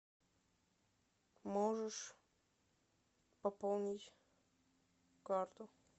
можешь пополнить карту